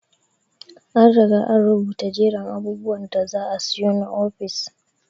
An Riga an rubuta jerin abubwan da za asiyo na ofis.